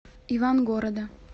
ивангорода